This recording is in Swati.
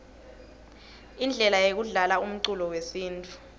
indlele yekudlalaumculo wesintfu